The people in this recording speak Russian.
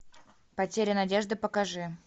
потеря надежды покажи